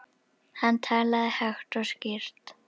Hann talaði hægt og skýrt.